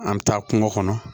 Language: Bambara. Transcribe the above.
An bɛ taa kungo kɔnɔ